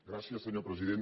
gràcies senyor president